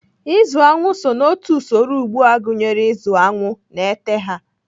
Ịzụ aṅụ so n'otu usoro ugbo gụnyere ịzụ aṅụ na ete ha.